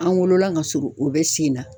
An wolola ka surun o bɛ sen na.